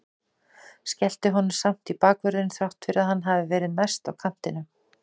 Skellti honum samt í bakvörðinn þrátt fyrir að hann hafi verið mest á kantinum.